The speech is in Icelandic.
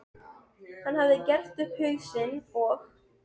Hann hafði gert upp hug sinn og